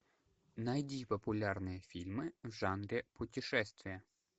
найди популярные фильмы в жанре путешествия